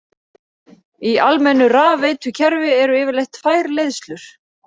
Í almennu rafveitukerfi eru yfirleitt tvær leiðslur.